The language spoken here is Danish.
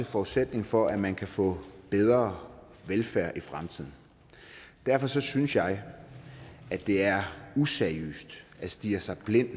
forudsætningen for at man kan få bedre velfærd i fremtiden derfor synes synes jeg at det er useriøst at stirre sig blind